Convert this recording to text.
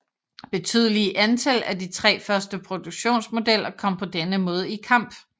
Betydelige antal af de tre første produktionsmodeller kom på denne måde i kamp